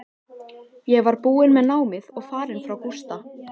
Ég var búin með námið og farin frá Gústa.